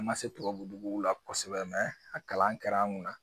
An man se tubabu duguw la kosɛbɛ a kalan kɛr'an kunna.